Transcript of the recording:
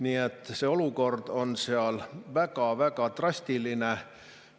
Nii et see olukord on seal väga-väga drastiline.